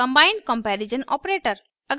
combined comparison operator